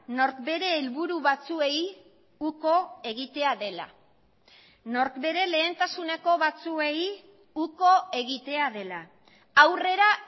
nork bere helburu batzuei uko egitea dela nork bere lehentasuneko batzuei uko egitea dela aurrera